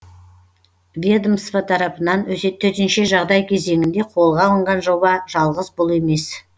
ведомства тарапынан төтенше жағдай кезеңінде қолға алынған жоба жалғыз бұл емес